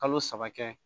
Kalo saba kɛ